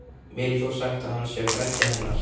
Mér er þó sagt að hann sé frændi hennar.